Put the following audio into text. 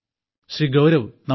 Shri Gaurav നമസ്തേ